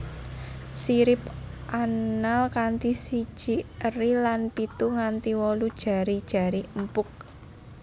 Sirip anal kanthi siji eri lan pitu nganti wolu jari jari empuk